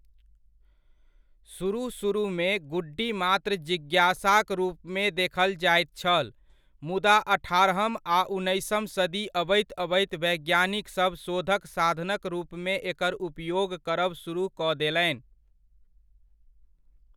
सुरुह सुरुहमे गुड्डी मात्र जिज्ञासाक रूपमे देखल जाइत छल, मुदा अठारहम आ उन्नैसम सदी अबैत अबैत वैज्ञानिकसभ शोधक साधनक रूपमे एकर उपयोग करब सुरुह कऽ देलनि।